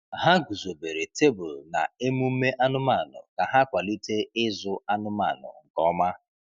Ha guzobere tebụl na emume anụmanụ ka ha kwalite ịzụ anụmanụ nke ọma.